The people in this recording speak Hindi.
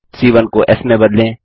c 1 को एस में बदलें